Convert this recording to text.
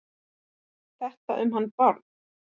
Þetta um hann Bárð?